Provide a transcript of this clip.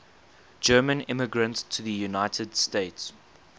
german immigrants to the united states